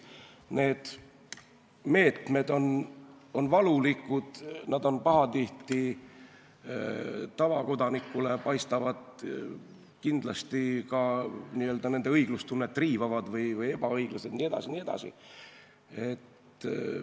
Need meetmed on valulikud ja pahatihti tavakodanikule paistab, et need riivavad kellegi õiglustunnet, on ebaõiglased jne.